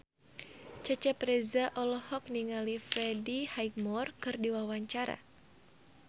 Cecep Reza olohok ningali Freddie Highmore keur diwawancara